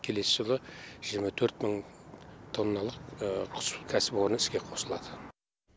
келесі жылы жиырма төрт мың тонналық құс кәсіпорны іске қосылады